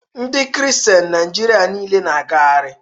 Ndi kristian Naịjirịa nile na-agagharị